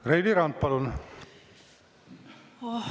Reili Rand, palun!